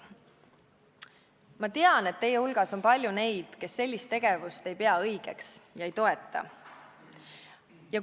Ma tean, et teie hulgas on palju neid, kes ei pea ministri sellist tegevust õigeks ega toeta seda.